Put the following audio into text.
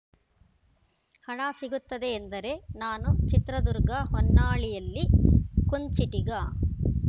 ಹಣ ಸಿಗುತ್ತದೆ ಎಂದರೆ ನಾನು ಚಿತ್ರದುರ್ಗ ಹೊನ್ನಾಳಿಯಲ್ಲಿ ಕುಂಚಿಟಿಗ